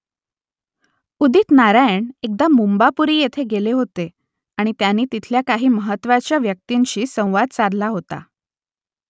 उदित नारायण एकदा मुंबापुरी येथे गेले होते आणि त्यांनी तिथल्या काही महत्त्वाच्या व्यक्तींशी संवाद साधला होता